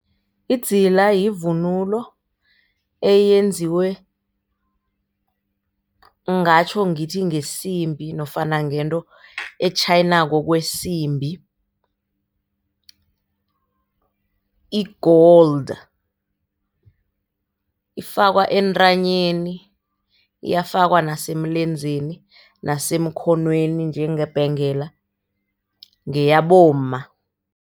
Idzila yivunulo eyenziwe, ngingatjho ngithi ngesimbi nofana ngento etjhayinako kwesimbi i-gold ifakwa entanyeni, iyafakwa nasemlenzeni, nasemkhonweni njengebhengela ngeyabomma.